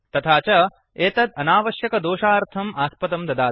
तथा च एतत् अनावश्यकदोषार्थम् आस्पदं ददाति